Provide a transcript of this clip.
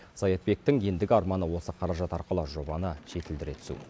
саятбектің ендігі арманы осы қаражат арқылы жобаны жетілдіре түсу